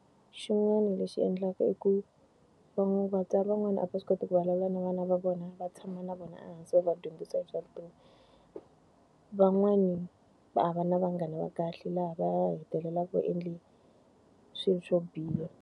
Xin'wana lexi endlaka i ku vatswari van'wana a va swi koti ku vulavula na vana va vona, va tshama na vona ehansi va vadyondzisa hi swa vutomi. Van'wani a va na vanghana va kahle laha va ya hetelelaka va endle swilo swo biha.